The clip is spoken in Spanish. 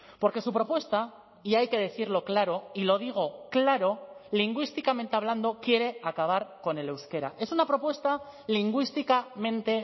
porque su propuesta y hay que decirlo claro y lo digo claro lingüísticamente hablando quiere acabar con el euskera es una propuesta lingüísticamente